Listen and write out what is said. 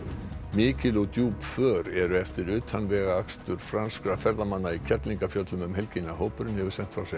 mikil og djúp för eru eftir utanvegaakstur franskra ferðamanna í Kerlingarfjöllum um helgina hópurinn hefur sent frá sér